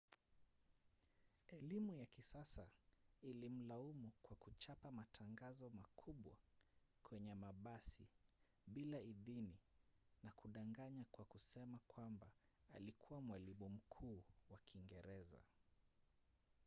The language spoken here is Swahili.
elimu ya kisasa ilimlaumu kwa kuchapa matangazo makubwa kwenye mabasi bila idhini na kudanganya kwa kusema kwamba alikuwa mwalimu mkuu wa kiingereza